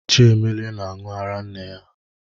Chiemelie na-aṅụ ara nne ya.